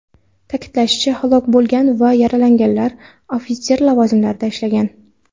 Ta’kidlanishicha, halok bo‘lgan va yaralanganlar ofitser lavozimlarida ishlagan.